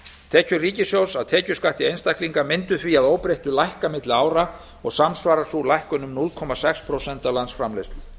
tekjur ríkissjóðs af tekjuskatti einstaklinga mundu því að óbreyttu lækka milli ára og samsvarar sú lækkun um núll komma sex prósent af landsframleiðslu